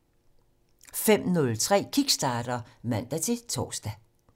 05:03: Kickstarter (man-tor)